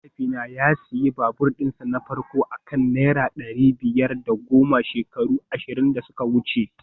Mahaifina ya sayi babur dinsa na farko a kan naira dari biyar da goma shekaru ashirin da suka wuce